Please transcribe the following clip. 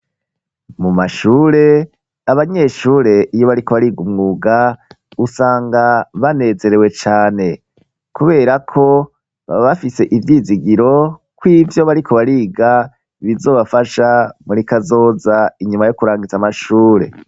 Mu mashure abanyeshure iyo bariko bariga umwuga usanga banezerewe cane kubera ko baba bafise ivyizigiro ko ivyo bariko bariga bizobafasha muri kazoza inyuma yo kurangiza amashure.